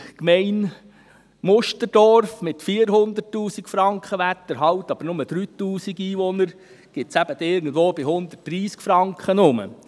Bei der Gemeinde Musterdorf mit 400 000 Franken Werterhalt, aber nur 3000 Einwohnern, ergibt dies etwa 130 Franken.